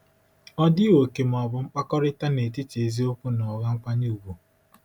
Ọ dịghị òkè ma ọ bụ mkpakọrịta n'etiti eziokwu na ụgha nkwanye ùgwù.